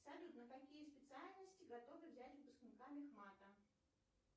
салют на какие специальности готовы взять выпускника мехмата